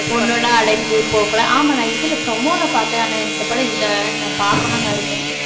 பொண்ணுன்னா அடங்கி போகக்கூடாது ஆமா நான் இதில promo ல பாத்தேன் ஆனா இந்த படம் இல்ல நான் பாக்கணும்னு இருக்கேன்